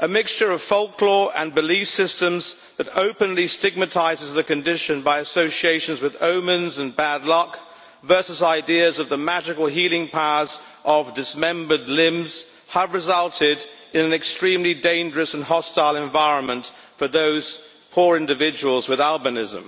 A mixture of folklore and belief systems that openly stigmatizes the condition by association with omens and bad luck versus ideas of the magical healing powers of dismembered limbs has resulted in an extremely dangerous and hostile environment for those poor individuals with albinism.